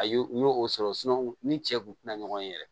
A y'o sɔrɔ ni cɛ kun ti na ɲɔgɔn ye yɛrɛ